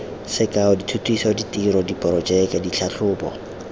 sekao dithutiso ditiro diporojeke ditlhatlhobo